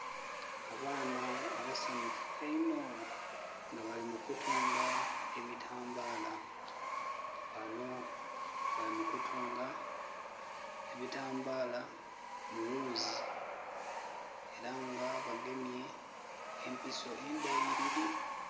Abaana abasanufu einho, nga bali mu kutunga ebitambaala. Bano bali mu kutunga ebitambaala mu wuuzi, era nga bagemye empiso endeyiiriri.